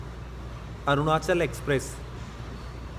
Arunachal express